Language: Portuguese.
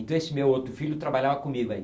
Então esse meu outro filho trabalhava comigo aí.